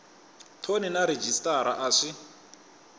thoni na rhejisitara a swi